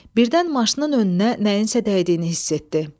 Birdən maşının önünə nəyinsə dəydiyini hiss etdi.